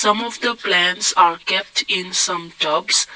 if the plants are kept in some tubs.